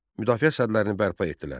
Müdafiə sədlərini bərpa etdilər.